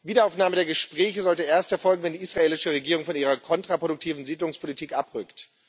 Eine Wiederaufnahme der Gespräche sollte erst erfolgen, wenn die israelische Regierung von ihrer kontraproduktiven Siedlungspolitik abrückt.